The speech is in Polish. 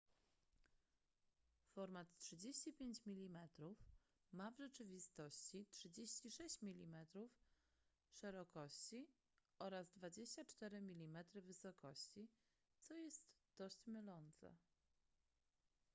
format 35 mm ma w rzeczywistości 36 mm szerokości oraz 24 mm wysokości co jest dość mylące